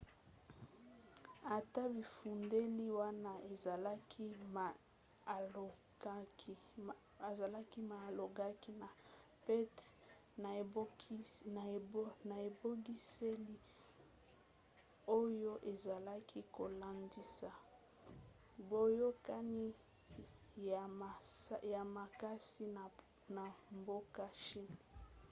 ata bifundeli wana ezalaki ma alongaki na pete na ebongiseli oyo ezalaki kolendisa boyokani ya makasi na mboka chine